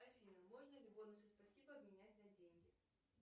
афина можно ли бонусы спасибо обменять на деньги